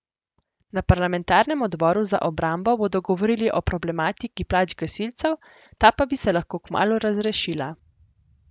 Na parlamentarnem odboru za obrambo bodo govorili o problematiki plač gasilcev, ta pa bi se lahko kmalu razrešila.